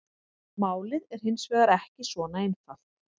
Málið er hins vegar ekki svona einfalt.